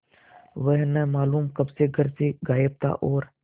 वह न मालूम कब से घर से गायब था और